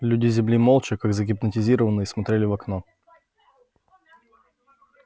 люди с земли молча как загипнотизированные смотрели в окно